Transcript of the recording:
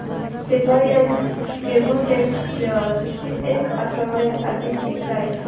Reliance Chemotex shares ची एक आठवड्या आधीची प्राइस